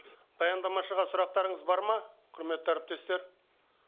баяндамашыға сұрақтарыңыз бар ма құрметті әріптестер